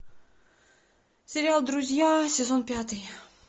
сериал друзья сезон пятый